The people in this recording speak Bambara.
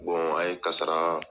a ye karasa